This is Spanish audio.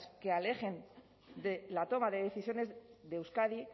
que alejen de la toma de decisiones de euskadi